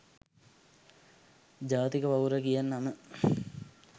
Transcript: ජාතික පවුර කියන නම